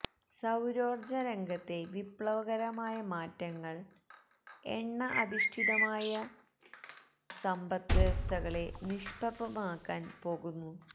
സൌരോര്ജ്ജ രംഗത്തെ വിപ്ലവകരമായ മാറ്റങ്ങള് എണ്ണ അധിഷ്ഠിതമായ സന്പദ്വ്യവസ്ഥകളെ നിഷ്പ്രഭമാക്കാന് പോകുന്നു